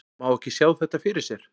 Má ekki sjá þetta fyrir sér?